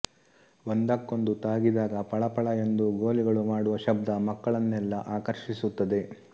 ಒಂದಕ್ಕೊಂದು ತಾಗಿದಾಗ ಪಳ ಪಳ ಎಂದು ಗೋಲಿಗಳು ಮಾಡುವ ಶಬ್ದ ಮಕ್ಕಳನ್ನೆಲ್ಲಾ ಆಕರ್ಷಿಸುತ್ತದೆ